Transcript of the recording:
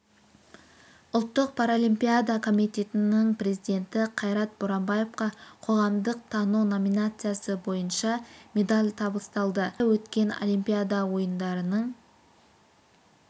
ұлттық паралимпиада комитетінің президенті қайрат боранбаевқа қоғамдық тану номинациясы бойынша медаль табысталды риода өткен олимпиада ойындарының